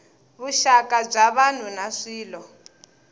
vuxaka bya vanhu na swilo